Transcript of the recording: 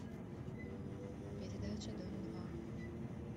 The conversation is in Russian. передача дом два